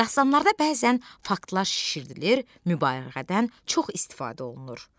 Dastanlarda bəzən faktlar şişirdilir, mübaliğədən çox istifadə olunur.